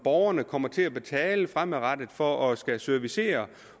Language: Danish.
borgerne kommer til at betale fremadrettet for at skulle servicere